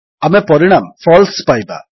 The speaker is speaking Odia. ଆମେ ପରିଣାମ ଫାଲସେ ପାଇବା